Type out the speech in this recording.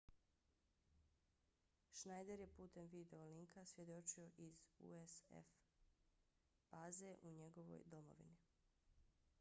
schneider je putem video linka svjedočio iz usaf baze u njegovoj domovini